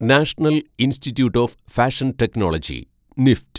national Institute of Fashion Technology (NEFT)